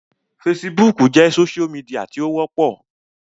Fesibúùkù jẹ́ sósú midià tí ó wọ́pọ̀